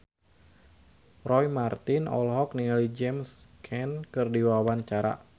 Roy Marten olohok ningali James Caan keur diwawancara